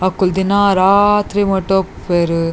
ಅಕುಲು ದಿನಾ ರಾತ್ರಿ ಮುಟ ಇಪ್ಪುವೆರ್.